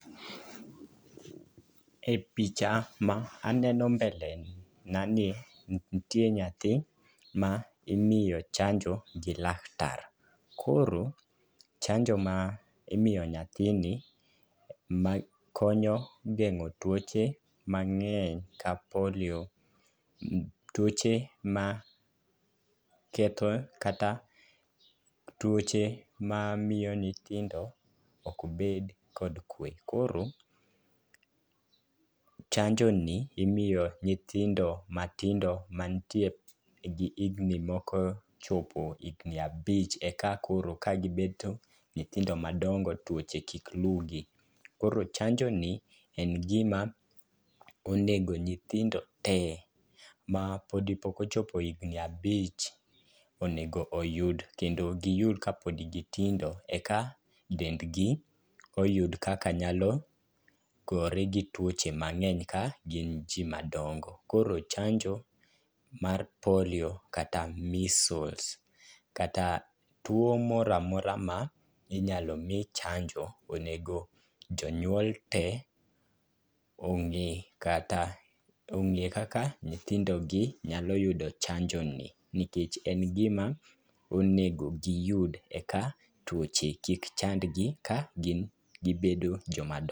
E picha ma aneno mbele nani ntie nyathi ma imiyo chanjo gi laktar. Koro chanjo ma imiyo nyathini ma konyo geng'o tuoche mang'eny ka polio. Tuoche ma ketho kata tuoche ma miyo nithindo ok bed kod kwe. Koro chanjo ni imiyo nyithindo matindo mantie gi higni moko chopo higni abich eka koro ka gibeto nyithindo madongo tuoche kik lugi. Koro chanjo ni en gima ongeo nyithindo te mapodi mapok ochopo higni abich onengo yud onego giyud kapod gitindo eka dengni oyud kaka nyalo gore gi tuoche ka gin jii madongo. Koro chanjo mar polio kata measles kata tuo moramora ma inyalo mii chanjo. Onego jonyuol tee ong'e kata, ong'e kaka nyithindo gi nyalo yudo chanjo ni nikech en gima onego giyud eka tuoche kik chand gi ka gin gibedo joma dongo